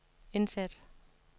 indsæt